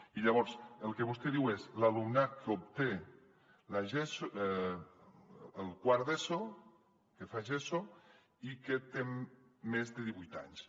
i llavors el que vostè diu és l’alumnat que obté el quart d’eso que fa geso i que té més de divuit anys